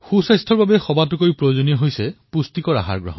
ভাল স্বাস্থ্যৰ বাবে সকলোতকৈ অধিক আৱশ্যক হল পুষ্টিযুক্ত ভোজন